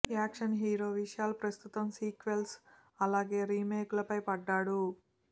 action hero Vishal ప్రస్తుతం sequels అలాగే remake లపై పడ్డాడు